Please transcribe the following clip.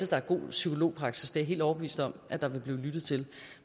der er god psykologpraksis det er jeg helt overbevist om at der vil blive lyttet til